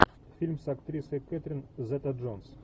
фильм с актрисой кэтрин зета джонс